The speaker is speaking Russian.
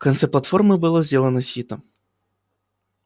в конце платформы было сделано сито